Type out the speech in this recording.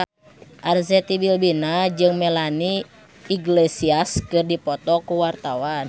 Arzetti Bilbina jeung Melanie Iglesias keur dipoto ku wartawan